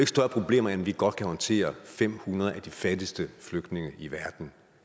større problemer end at vi godt kan håndtere fem hundrede af de fattigste flygtninge i verden